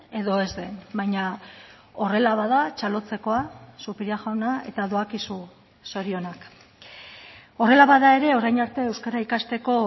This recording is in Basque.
edo ez den baina horrela bada txalotzekoa zupiria jauna eta doakizu zorionak horrela bada ere orain arte euskara ikasteko